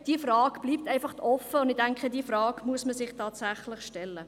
Diese Frage bleibt einfach offen, und ich denke, diese Frage muss man sich tatsächlich stellen.